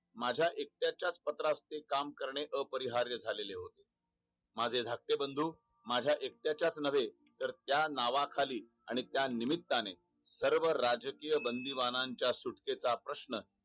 माझा एकट्याच्या पत्राचे काम करणे अपरिहार्य झालेले होते माझे धाकटे बंदू माझा एकट्याच्या नव्हे तर त्या नावाखाली आणि त्या निमित्त्याने बरोबर राजकीय बंदिबान सुटकेचा प्रश्न